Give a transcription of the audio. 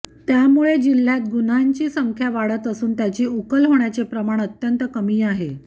त्यामुळे जिल्ह्यात गुन्ह्यांची संख्या वाढत असून त्याची उकल होण्याचे प्रमाण अत्यंत कमी आहे